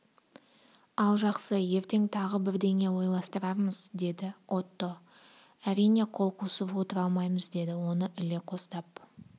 ал жақсы ертең тағы бірдеңе ойластырармыз деді отто әрине қол қусырып отыра алмаймыз деді оны іле қостап